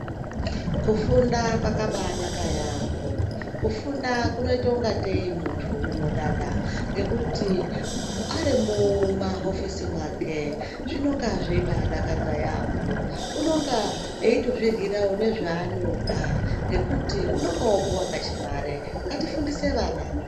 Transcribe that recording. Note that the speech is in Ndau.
Kufunda kwakabaanaka yaampho. Kufunda kunoite ungatei muntu unodada, ngekuti arri mumahofisi mwake zvinonga zveibaadakadza yaampho. Unonga eitozviryirawo nezvaanoda ngekuti unonga opuwa kachimare. Ngatifundise vana.